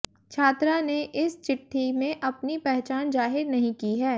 छात्रा ने इस चिट्ठी में अपनी पहचान जाहिर नहीं की है